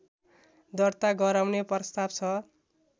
दर्ता गराउने प्रस्ताव छ